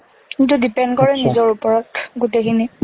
কিন্তু depend কৰে নিজৰ ওপৰত, গোটেখিনি।